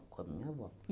Com a minha avó.